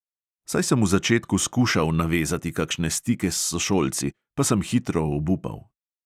Saj sem v začetku skušal navezati kakšne stike s sošolci, pa sem hitro obupal.